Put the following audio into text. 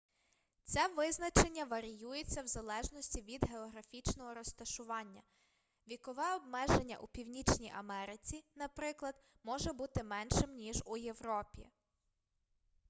це визначення варіюється в залежності від географічного розташування вікове обмеження у північній америці наприклад може бути меншим ніж у європі